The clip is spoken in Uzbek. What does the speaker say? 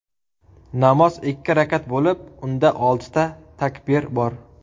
Namoz ikki rakat bo‘lib, unda oltita takbir bor.